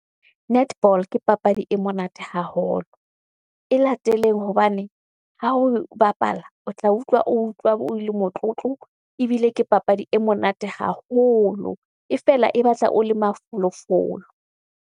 Netball ke papadi e monate haholo. E lateleng hobane ha oe bapala, o tla utlwa o utlwa o le motlotlo. Ebile ke papadi e monate haholo, e fela e batla o le mafolofolo.